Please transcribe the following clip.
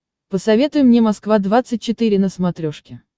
посоветуй мне москва двадцать четыре на смотрешке